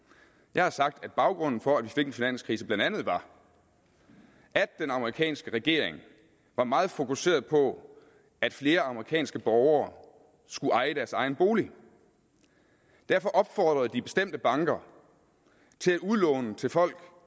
jeg har sagt at baggrunden for at vi fik en finanskrise blandt andet var at den amerikanske regering var meget fokuseret på at flere amerikanske borgere skulle eje deres egen bolig derfor opfordrede de bestemte banker til at udlåne til folk